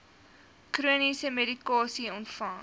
chroniese medikasie ontvang